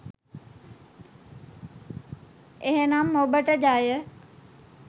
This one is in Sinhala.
එහෙනම් ඔබට ජය